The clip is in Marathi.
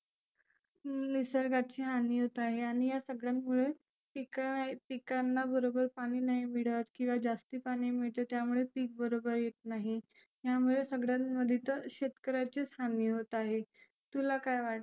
निसर्गाची हानी होत आहे आणि या सगळ्यामुळे पिक पिकांना बरोबर पाणि नाही मिळत किंवा जास्ती पाणि मिळत त्यामुळे पिक बरोबर येत नाही. यामुळे सगळ्यामध्ये तर शेतकऱ्याची हानी होत आहे. तुला काय वाटते?